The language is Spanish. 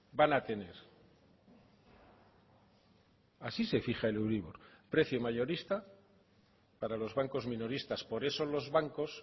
van a tener así se fija el euribor precio mayorista para los bancos minoristas por eso los bancos